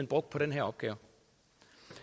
brugt på den her opgave